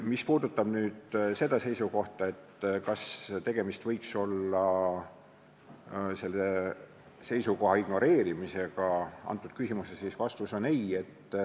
Mis puudutab seda, kas tegemist võiks olla nende seisukoha ignoreerimisega antud küsimuses, siis vastus on "ei".